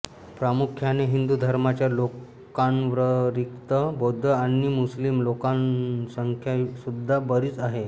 प्रामुख्याने हिंदू धर्माच्या लोकांव्यतिरिक्त बौद्ध आणि मुस्लिम लोकसंख्यासुद्धा बरीच आहे